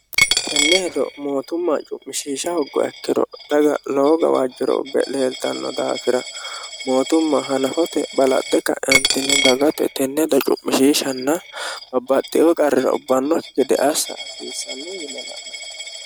tenne hedo mootumma cu'mishiisha hoggo ekkiro daga lowo gawaajjiro ubbe leeltanno daafira mootumma hanafote balaxxe ka'entinni dagate tenne hedo cu'mishiishanna babbaxxio qarrira ubbannokki gede assa hasiissannu yine la'nani